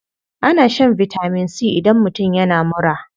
Ana shan vitamin c idan mutum yana mura.